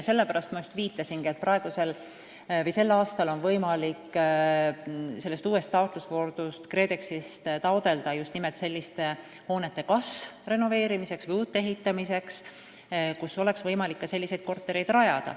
Sellepärast ma just viitasingi, et sellel aastal on võimalik uues taotlusvoorus KredExist raha küsida nimelt selliste hoonete kas renoveerimiseks või uute ehitamiseks, kuhu oleks võimalik selliseid kortereid rajada.